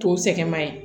To sɛgɛn ma ɲi